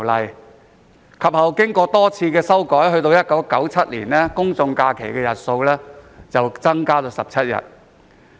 有關法例其後經過多次修訂，到了1997年，公眾假期日數增至17日。